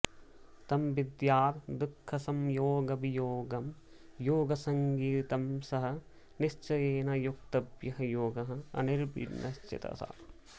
तं विद्यात् दुःखसंयोगवियोगं योगसंज्ञितम् सः निश्चयेन योक्तव्यः योगः अनिर्विण्णचेतसा